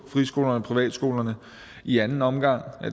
friskolerne og privatskolerne i anden omgang